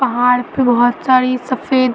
पहाड़ पे बहोत सारी सफ़ेद --